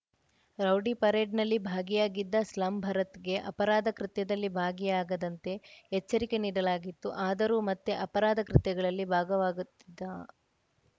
rowdy ಪರೇಡ್‌ನಲ್ಲಿ ಭಾಗಿಯಾಗಿದ್ದ slum ಭರತ್‌ಗೆ ಅಪರಾಧ ಕೃತ್ಯದಲ್ಲಿ ಭಾಗಿಯಾಗದಂತೆ ಎಚ್ಚರಿಕೆ ನೀಡಲಾಗಿತ್ತು ಆದರೂ ಮತ್ತೆ ಅಪರಾಧ ಕೃತ್ಯಗಳಲ್ಲಿ ಭಾಗವಾಗುತ್ತಿದ್ದ